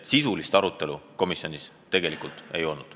Sisulist arutelu komisjonis ei olnud.